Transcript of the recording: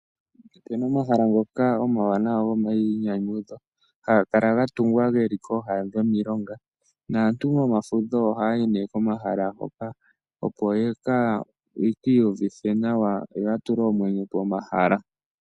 Opena omahala ngoka omawanawa gomayinyanyudho. Hanga kala ga tugwa geli kooha dhomiilonga. Naantu momafudho ohaayi nee komahala ngoka. Opo yeki iyuvitha nawa yoya tule omwenyo pomahala.